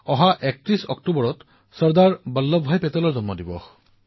আপোনালোকৰ মনত আছে যে ৩১ অক্টোবৰ চৰ্দাৰ বল্লভভাই পেটেলৰ জন্মদিন